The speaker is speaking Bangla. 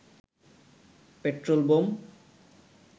petrol bomb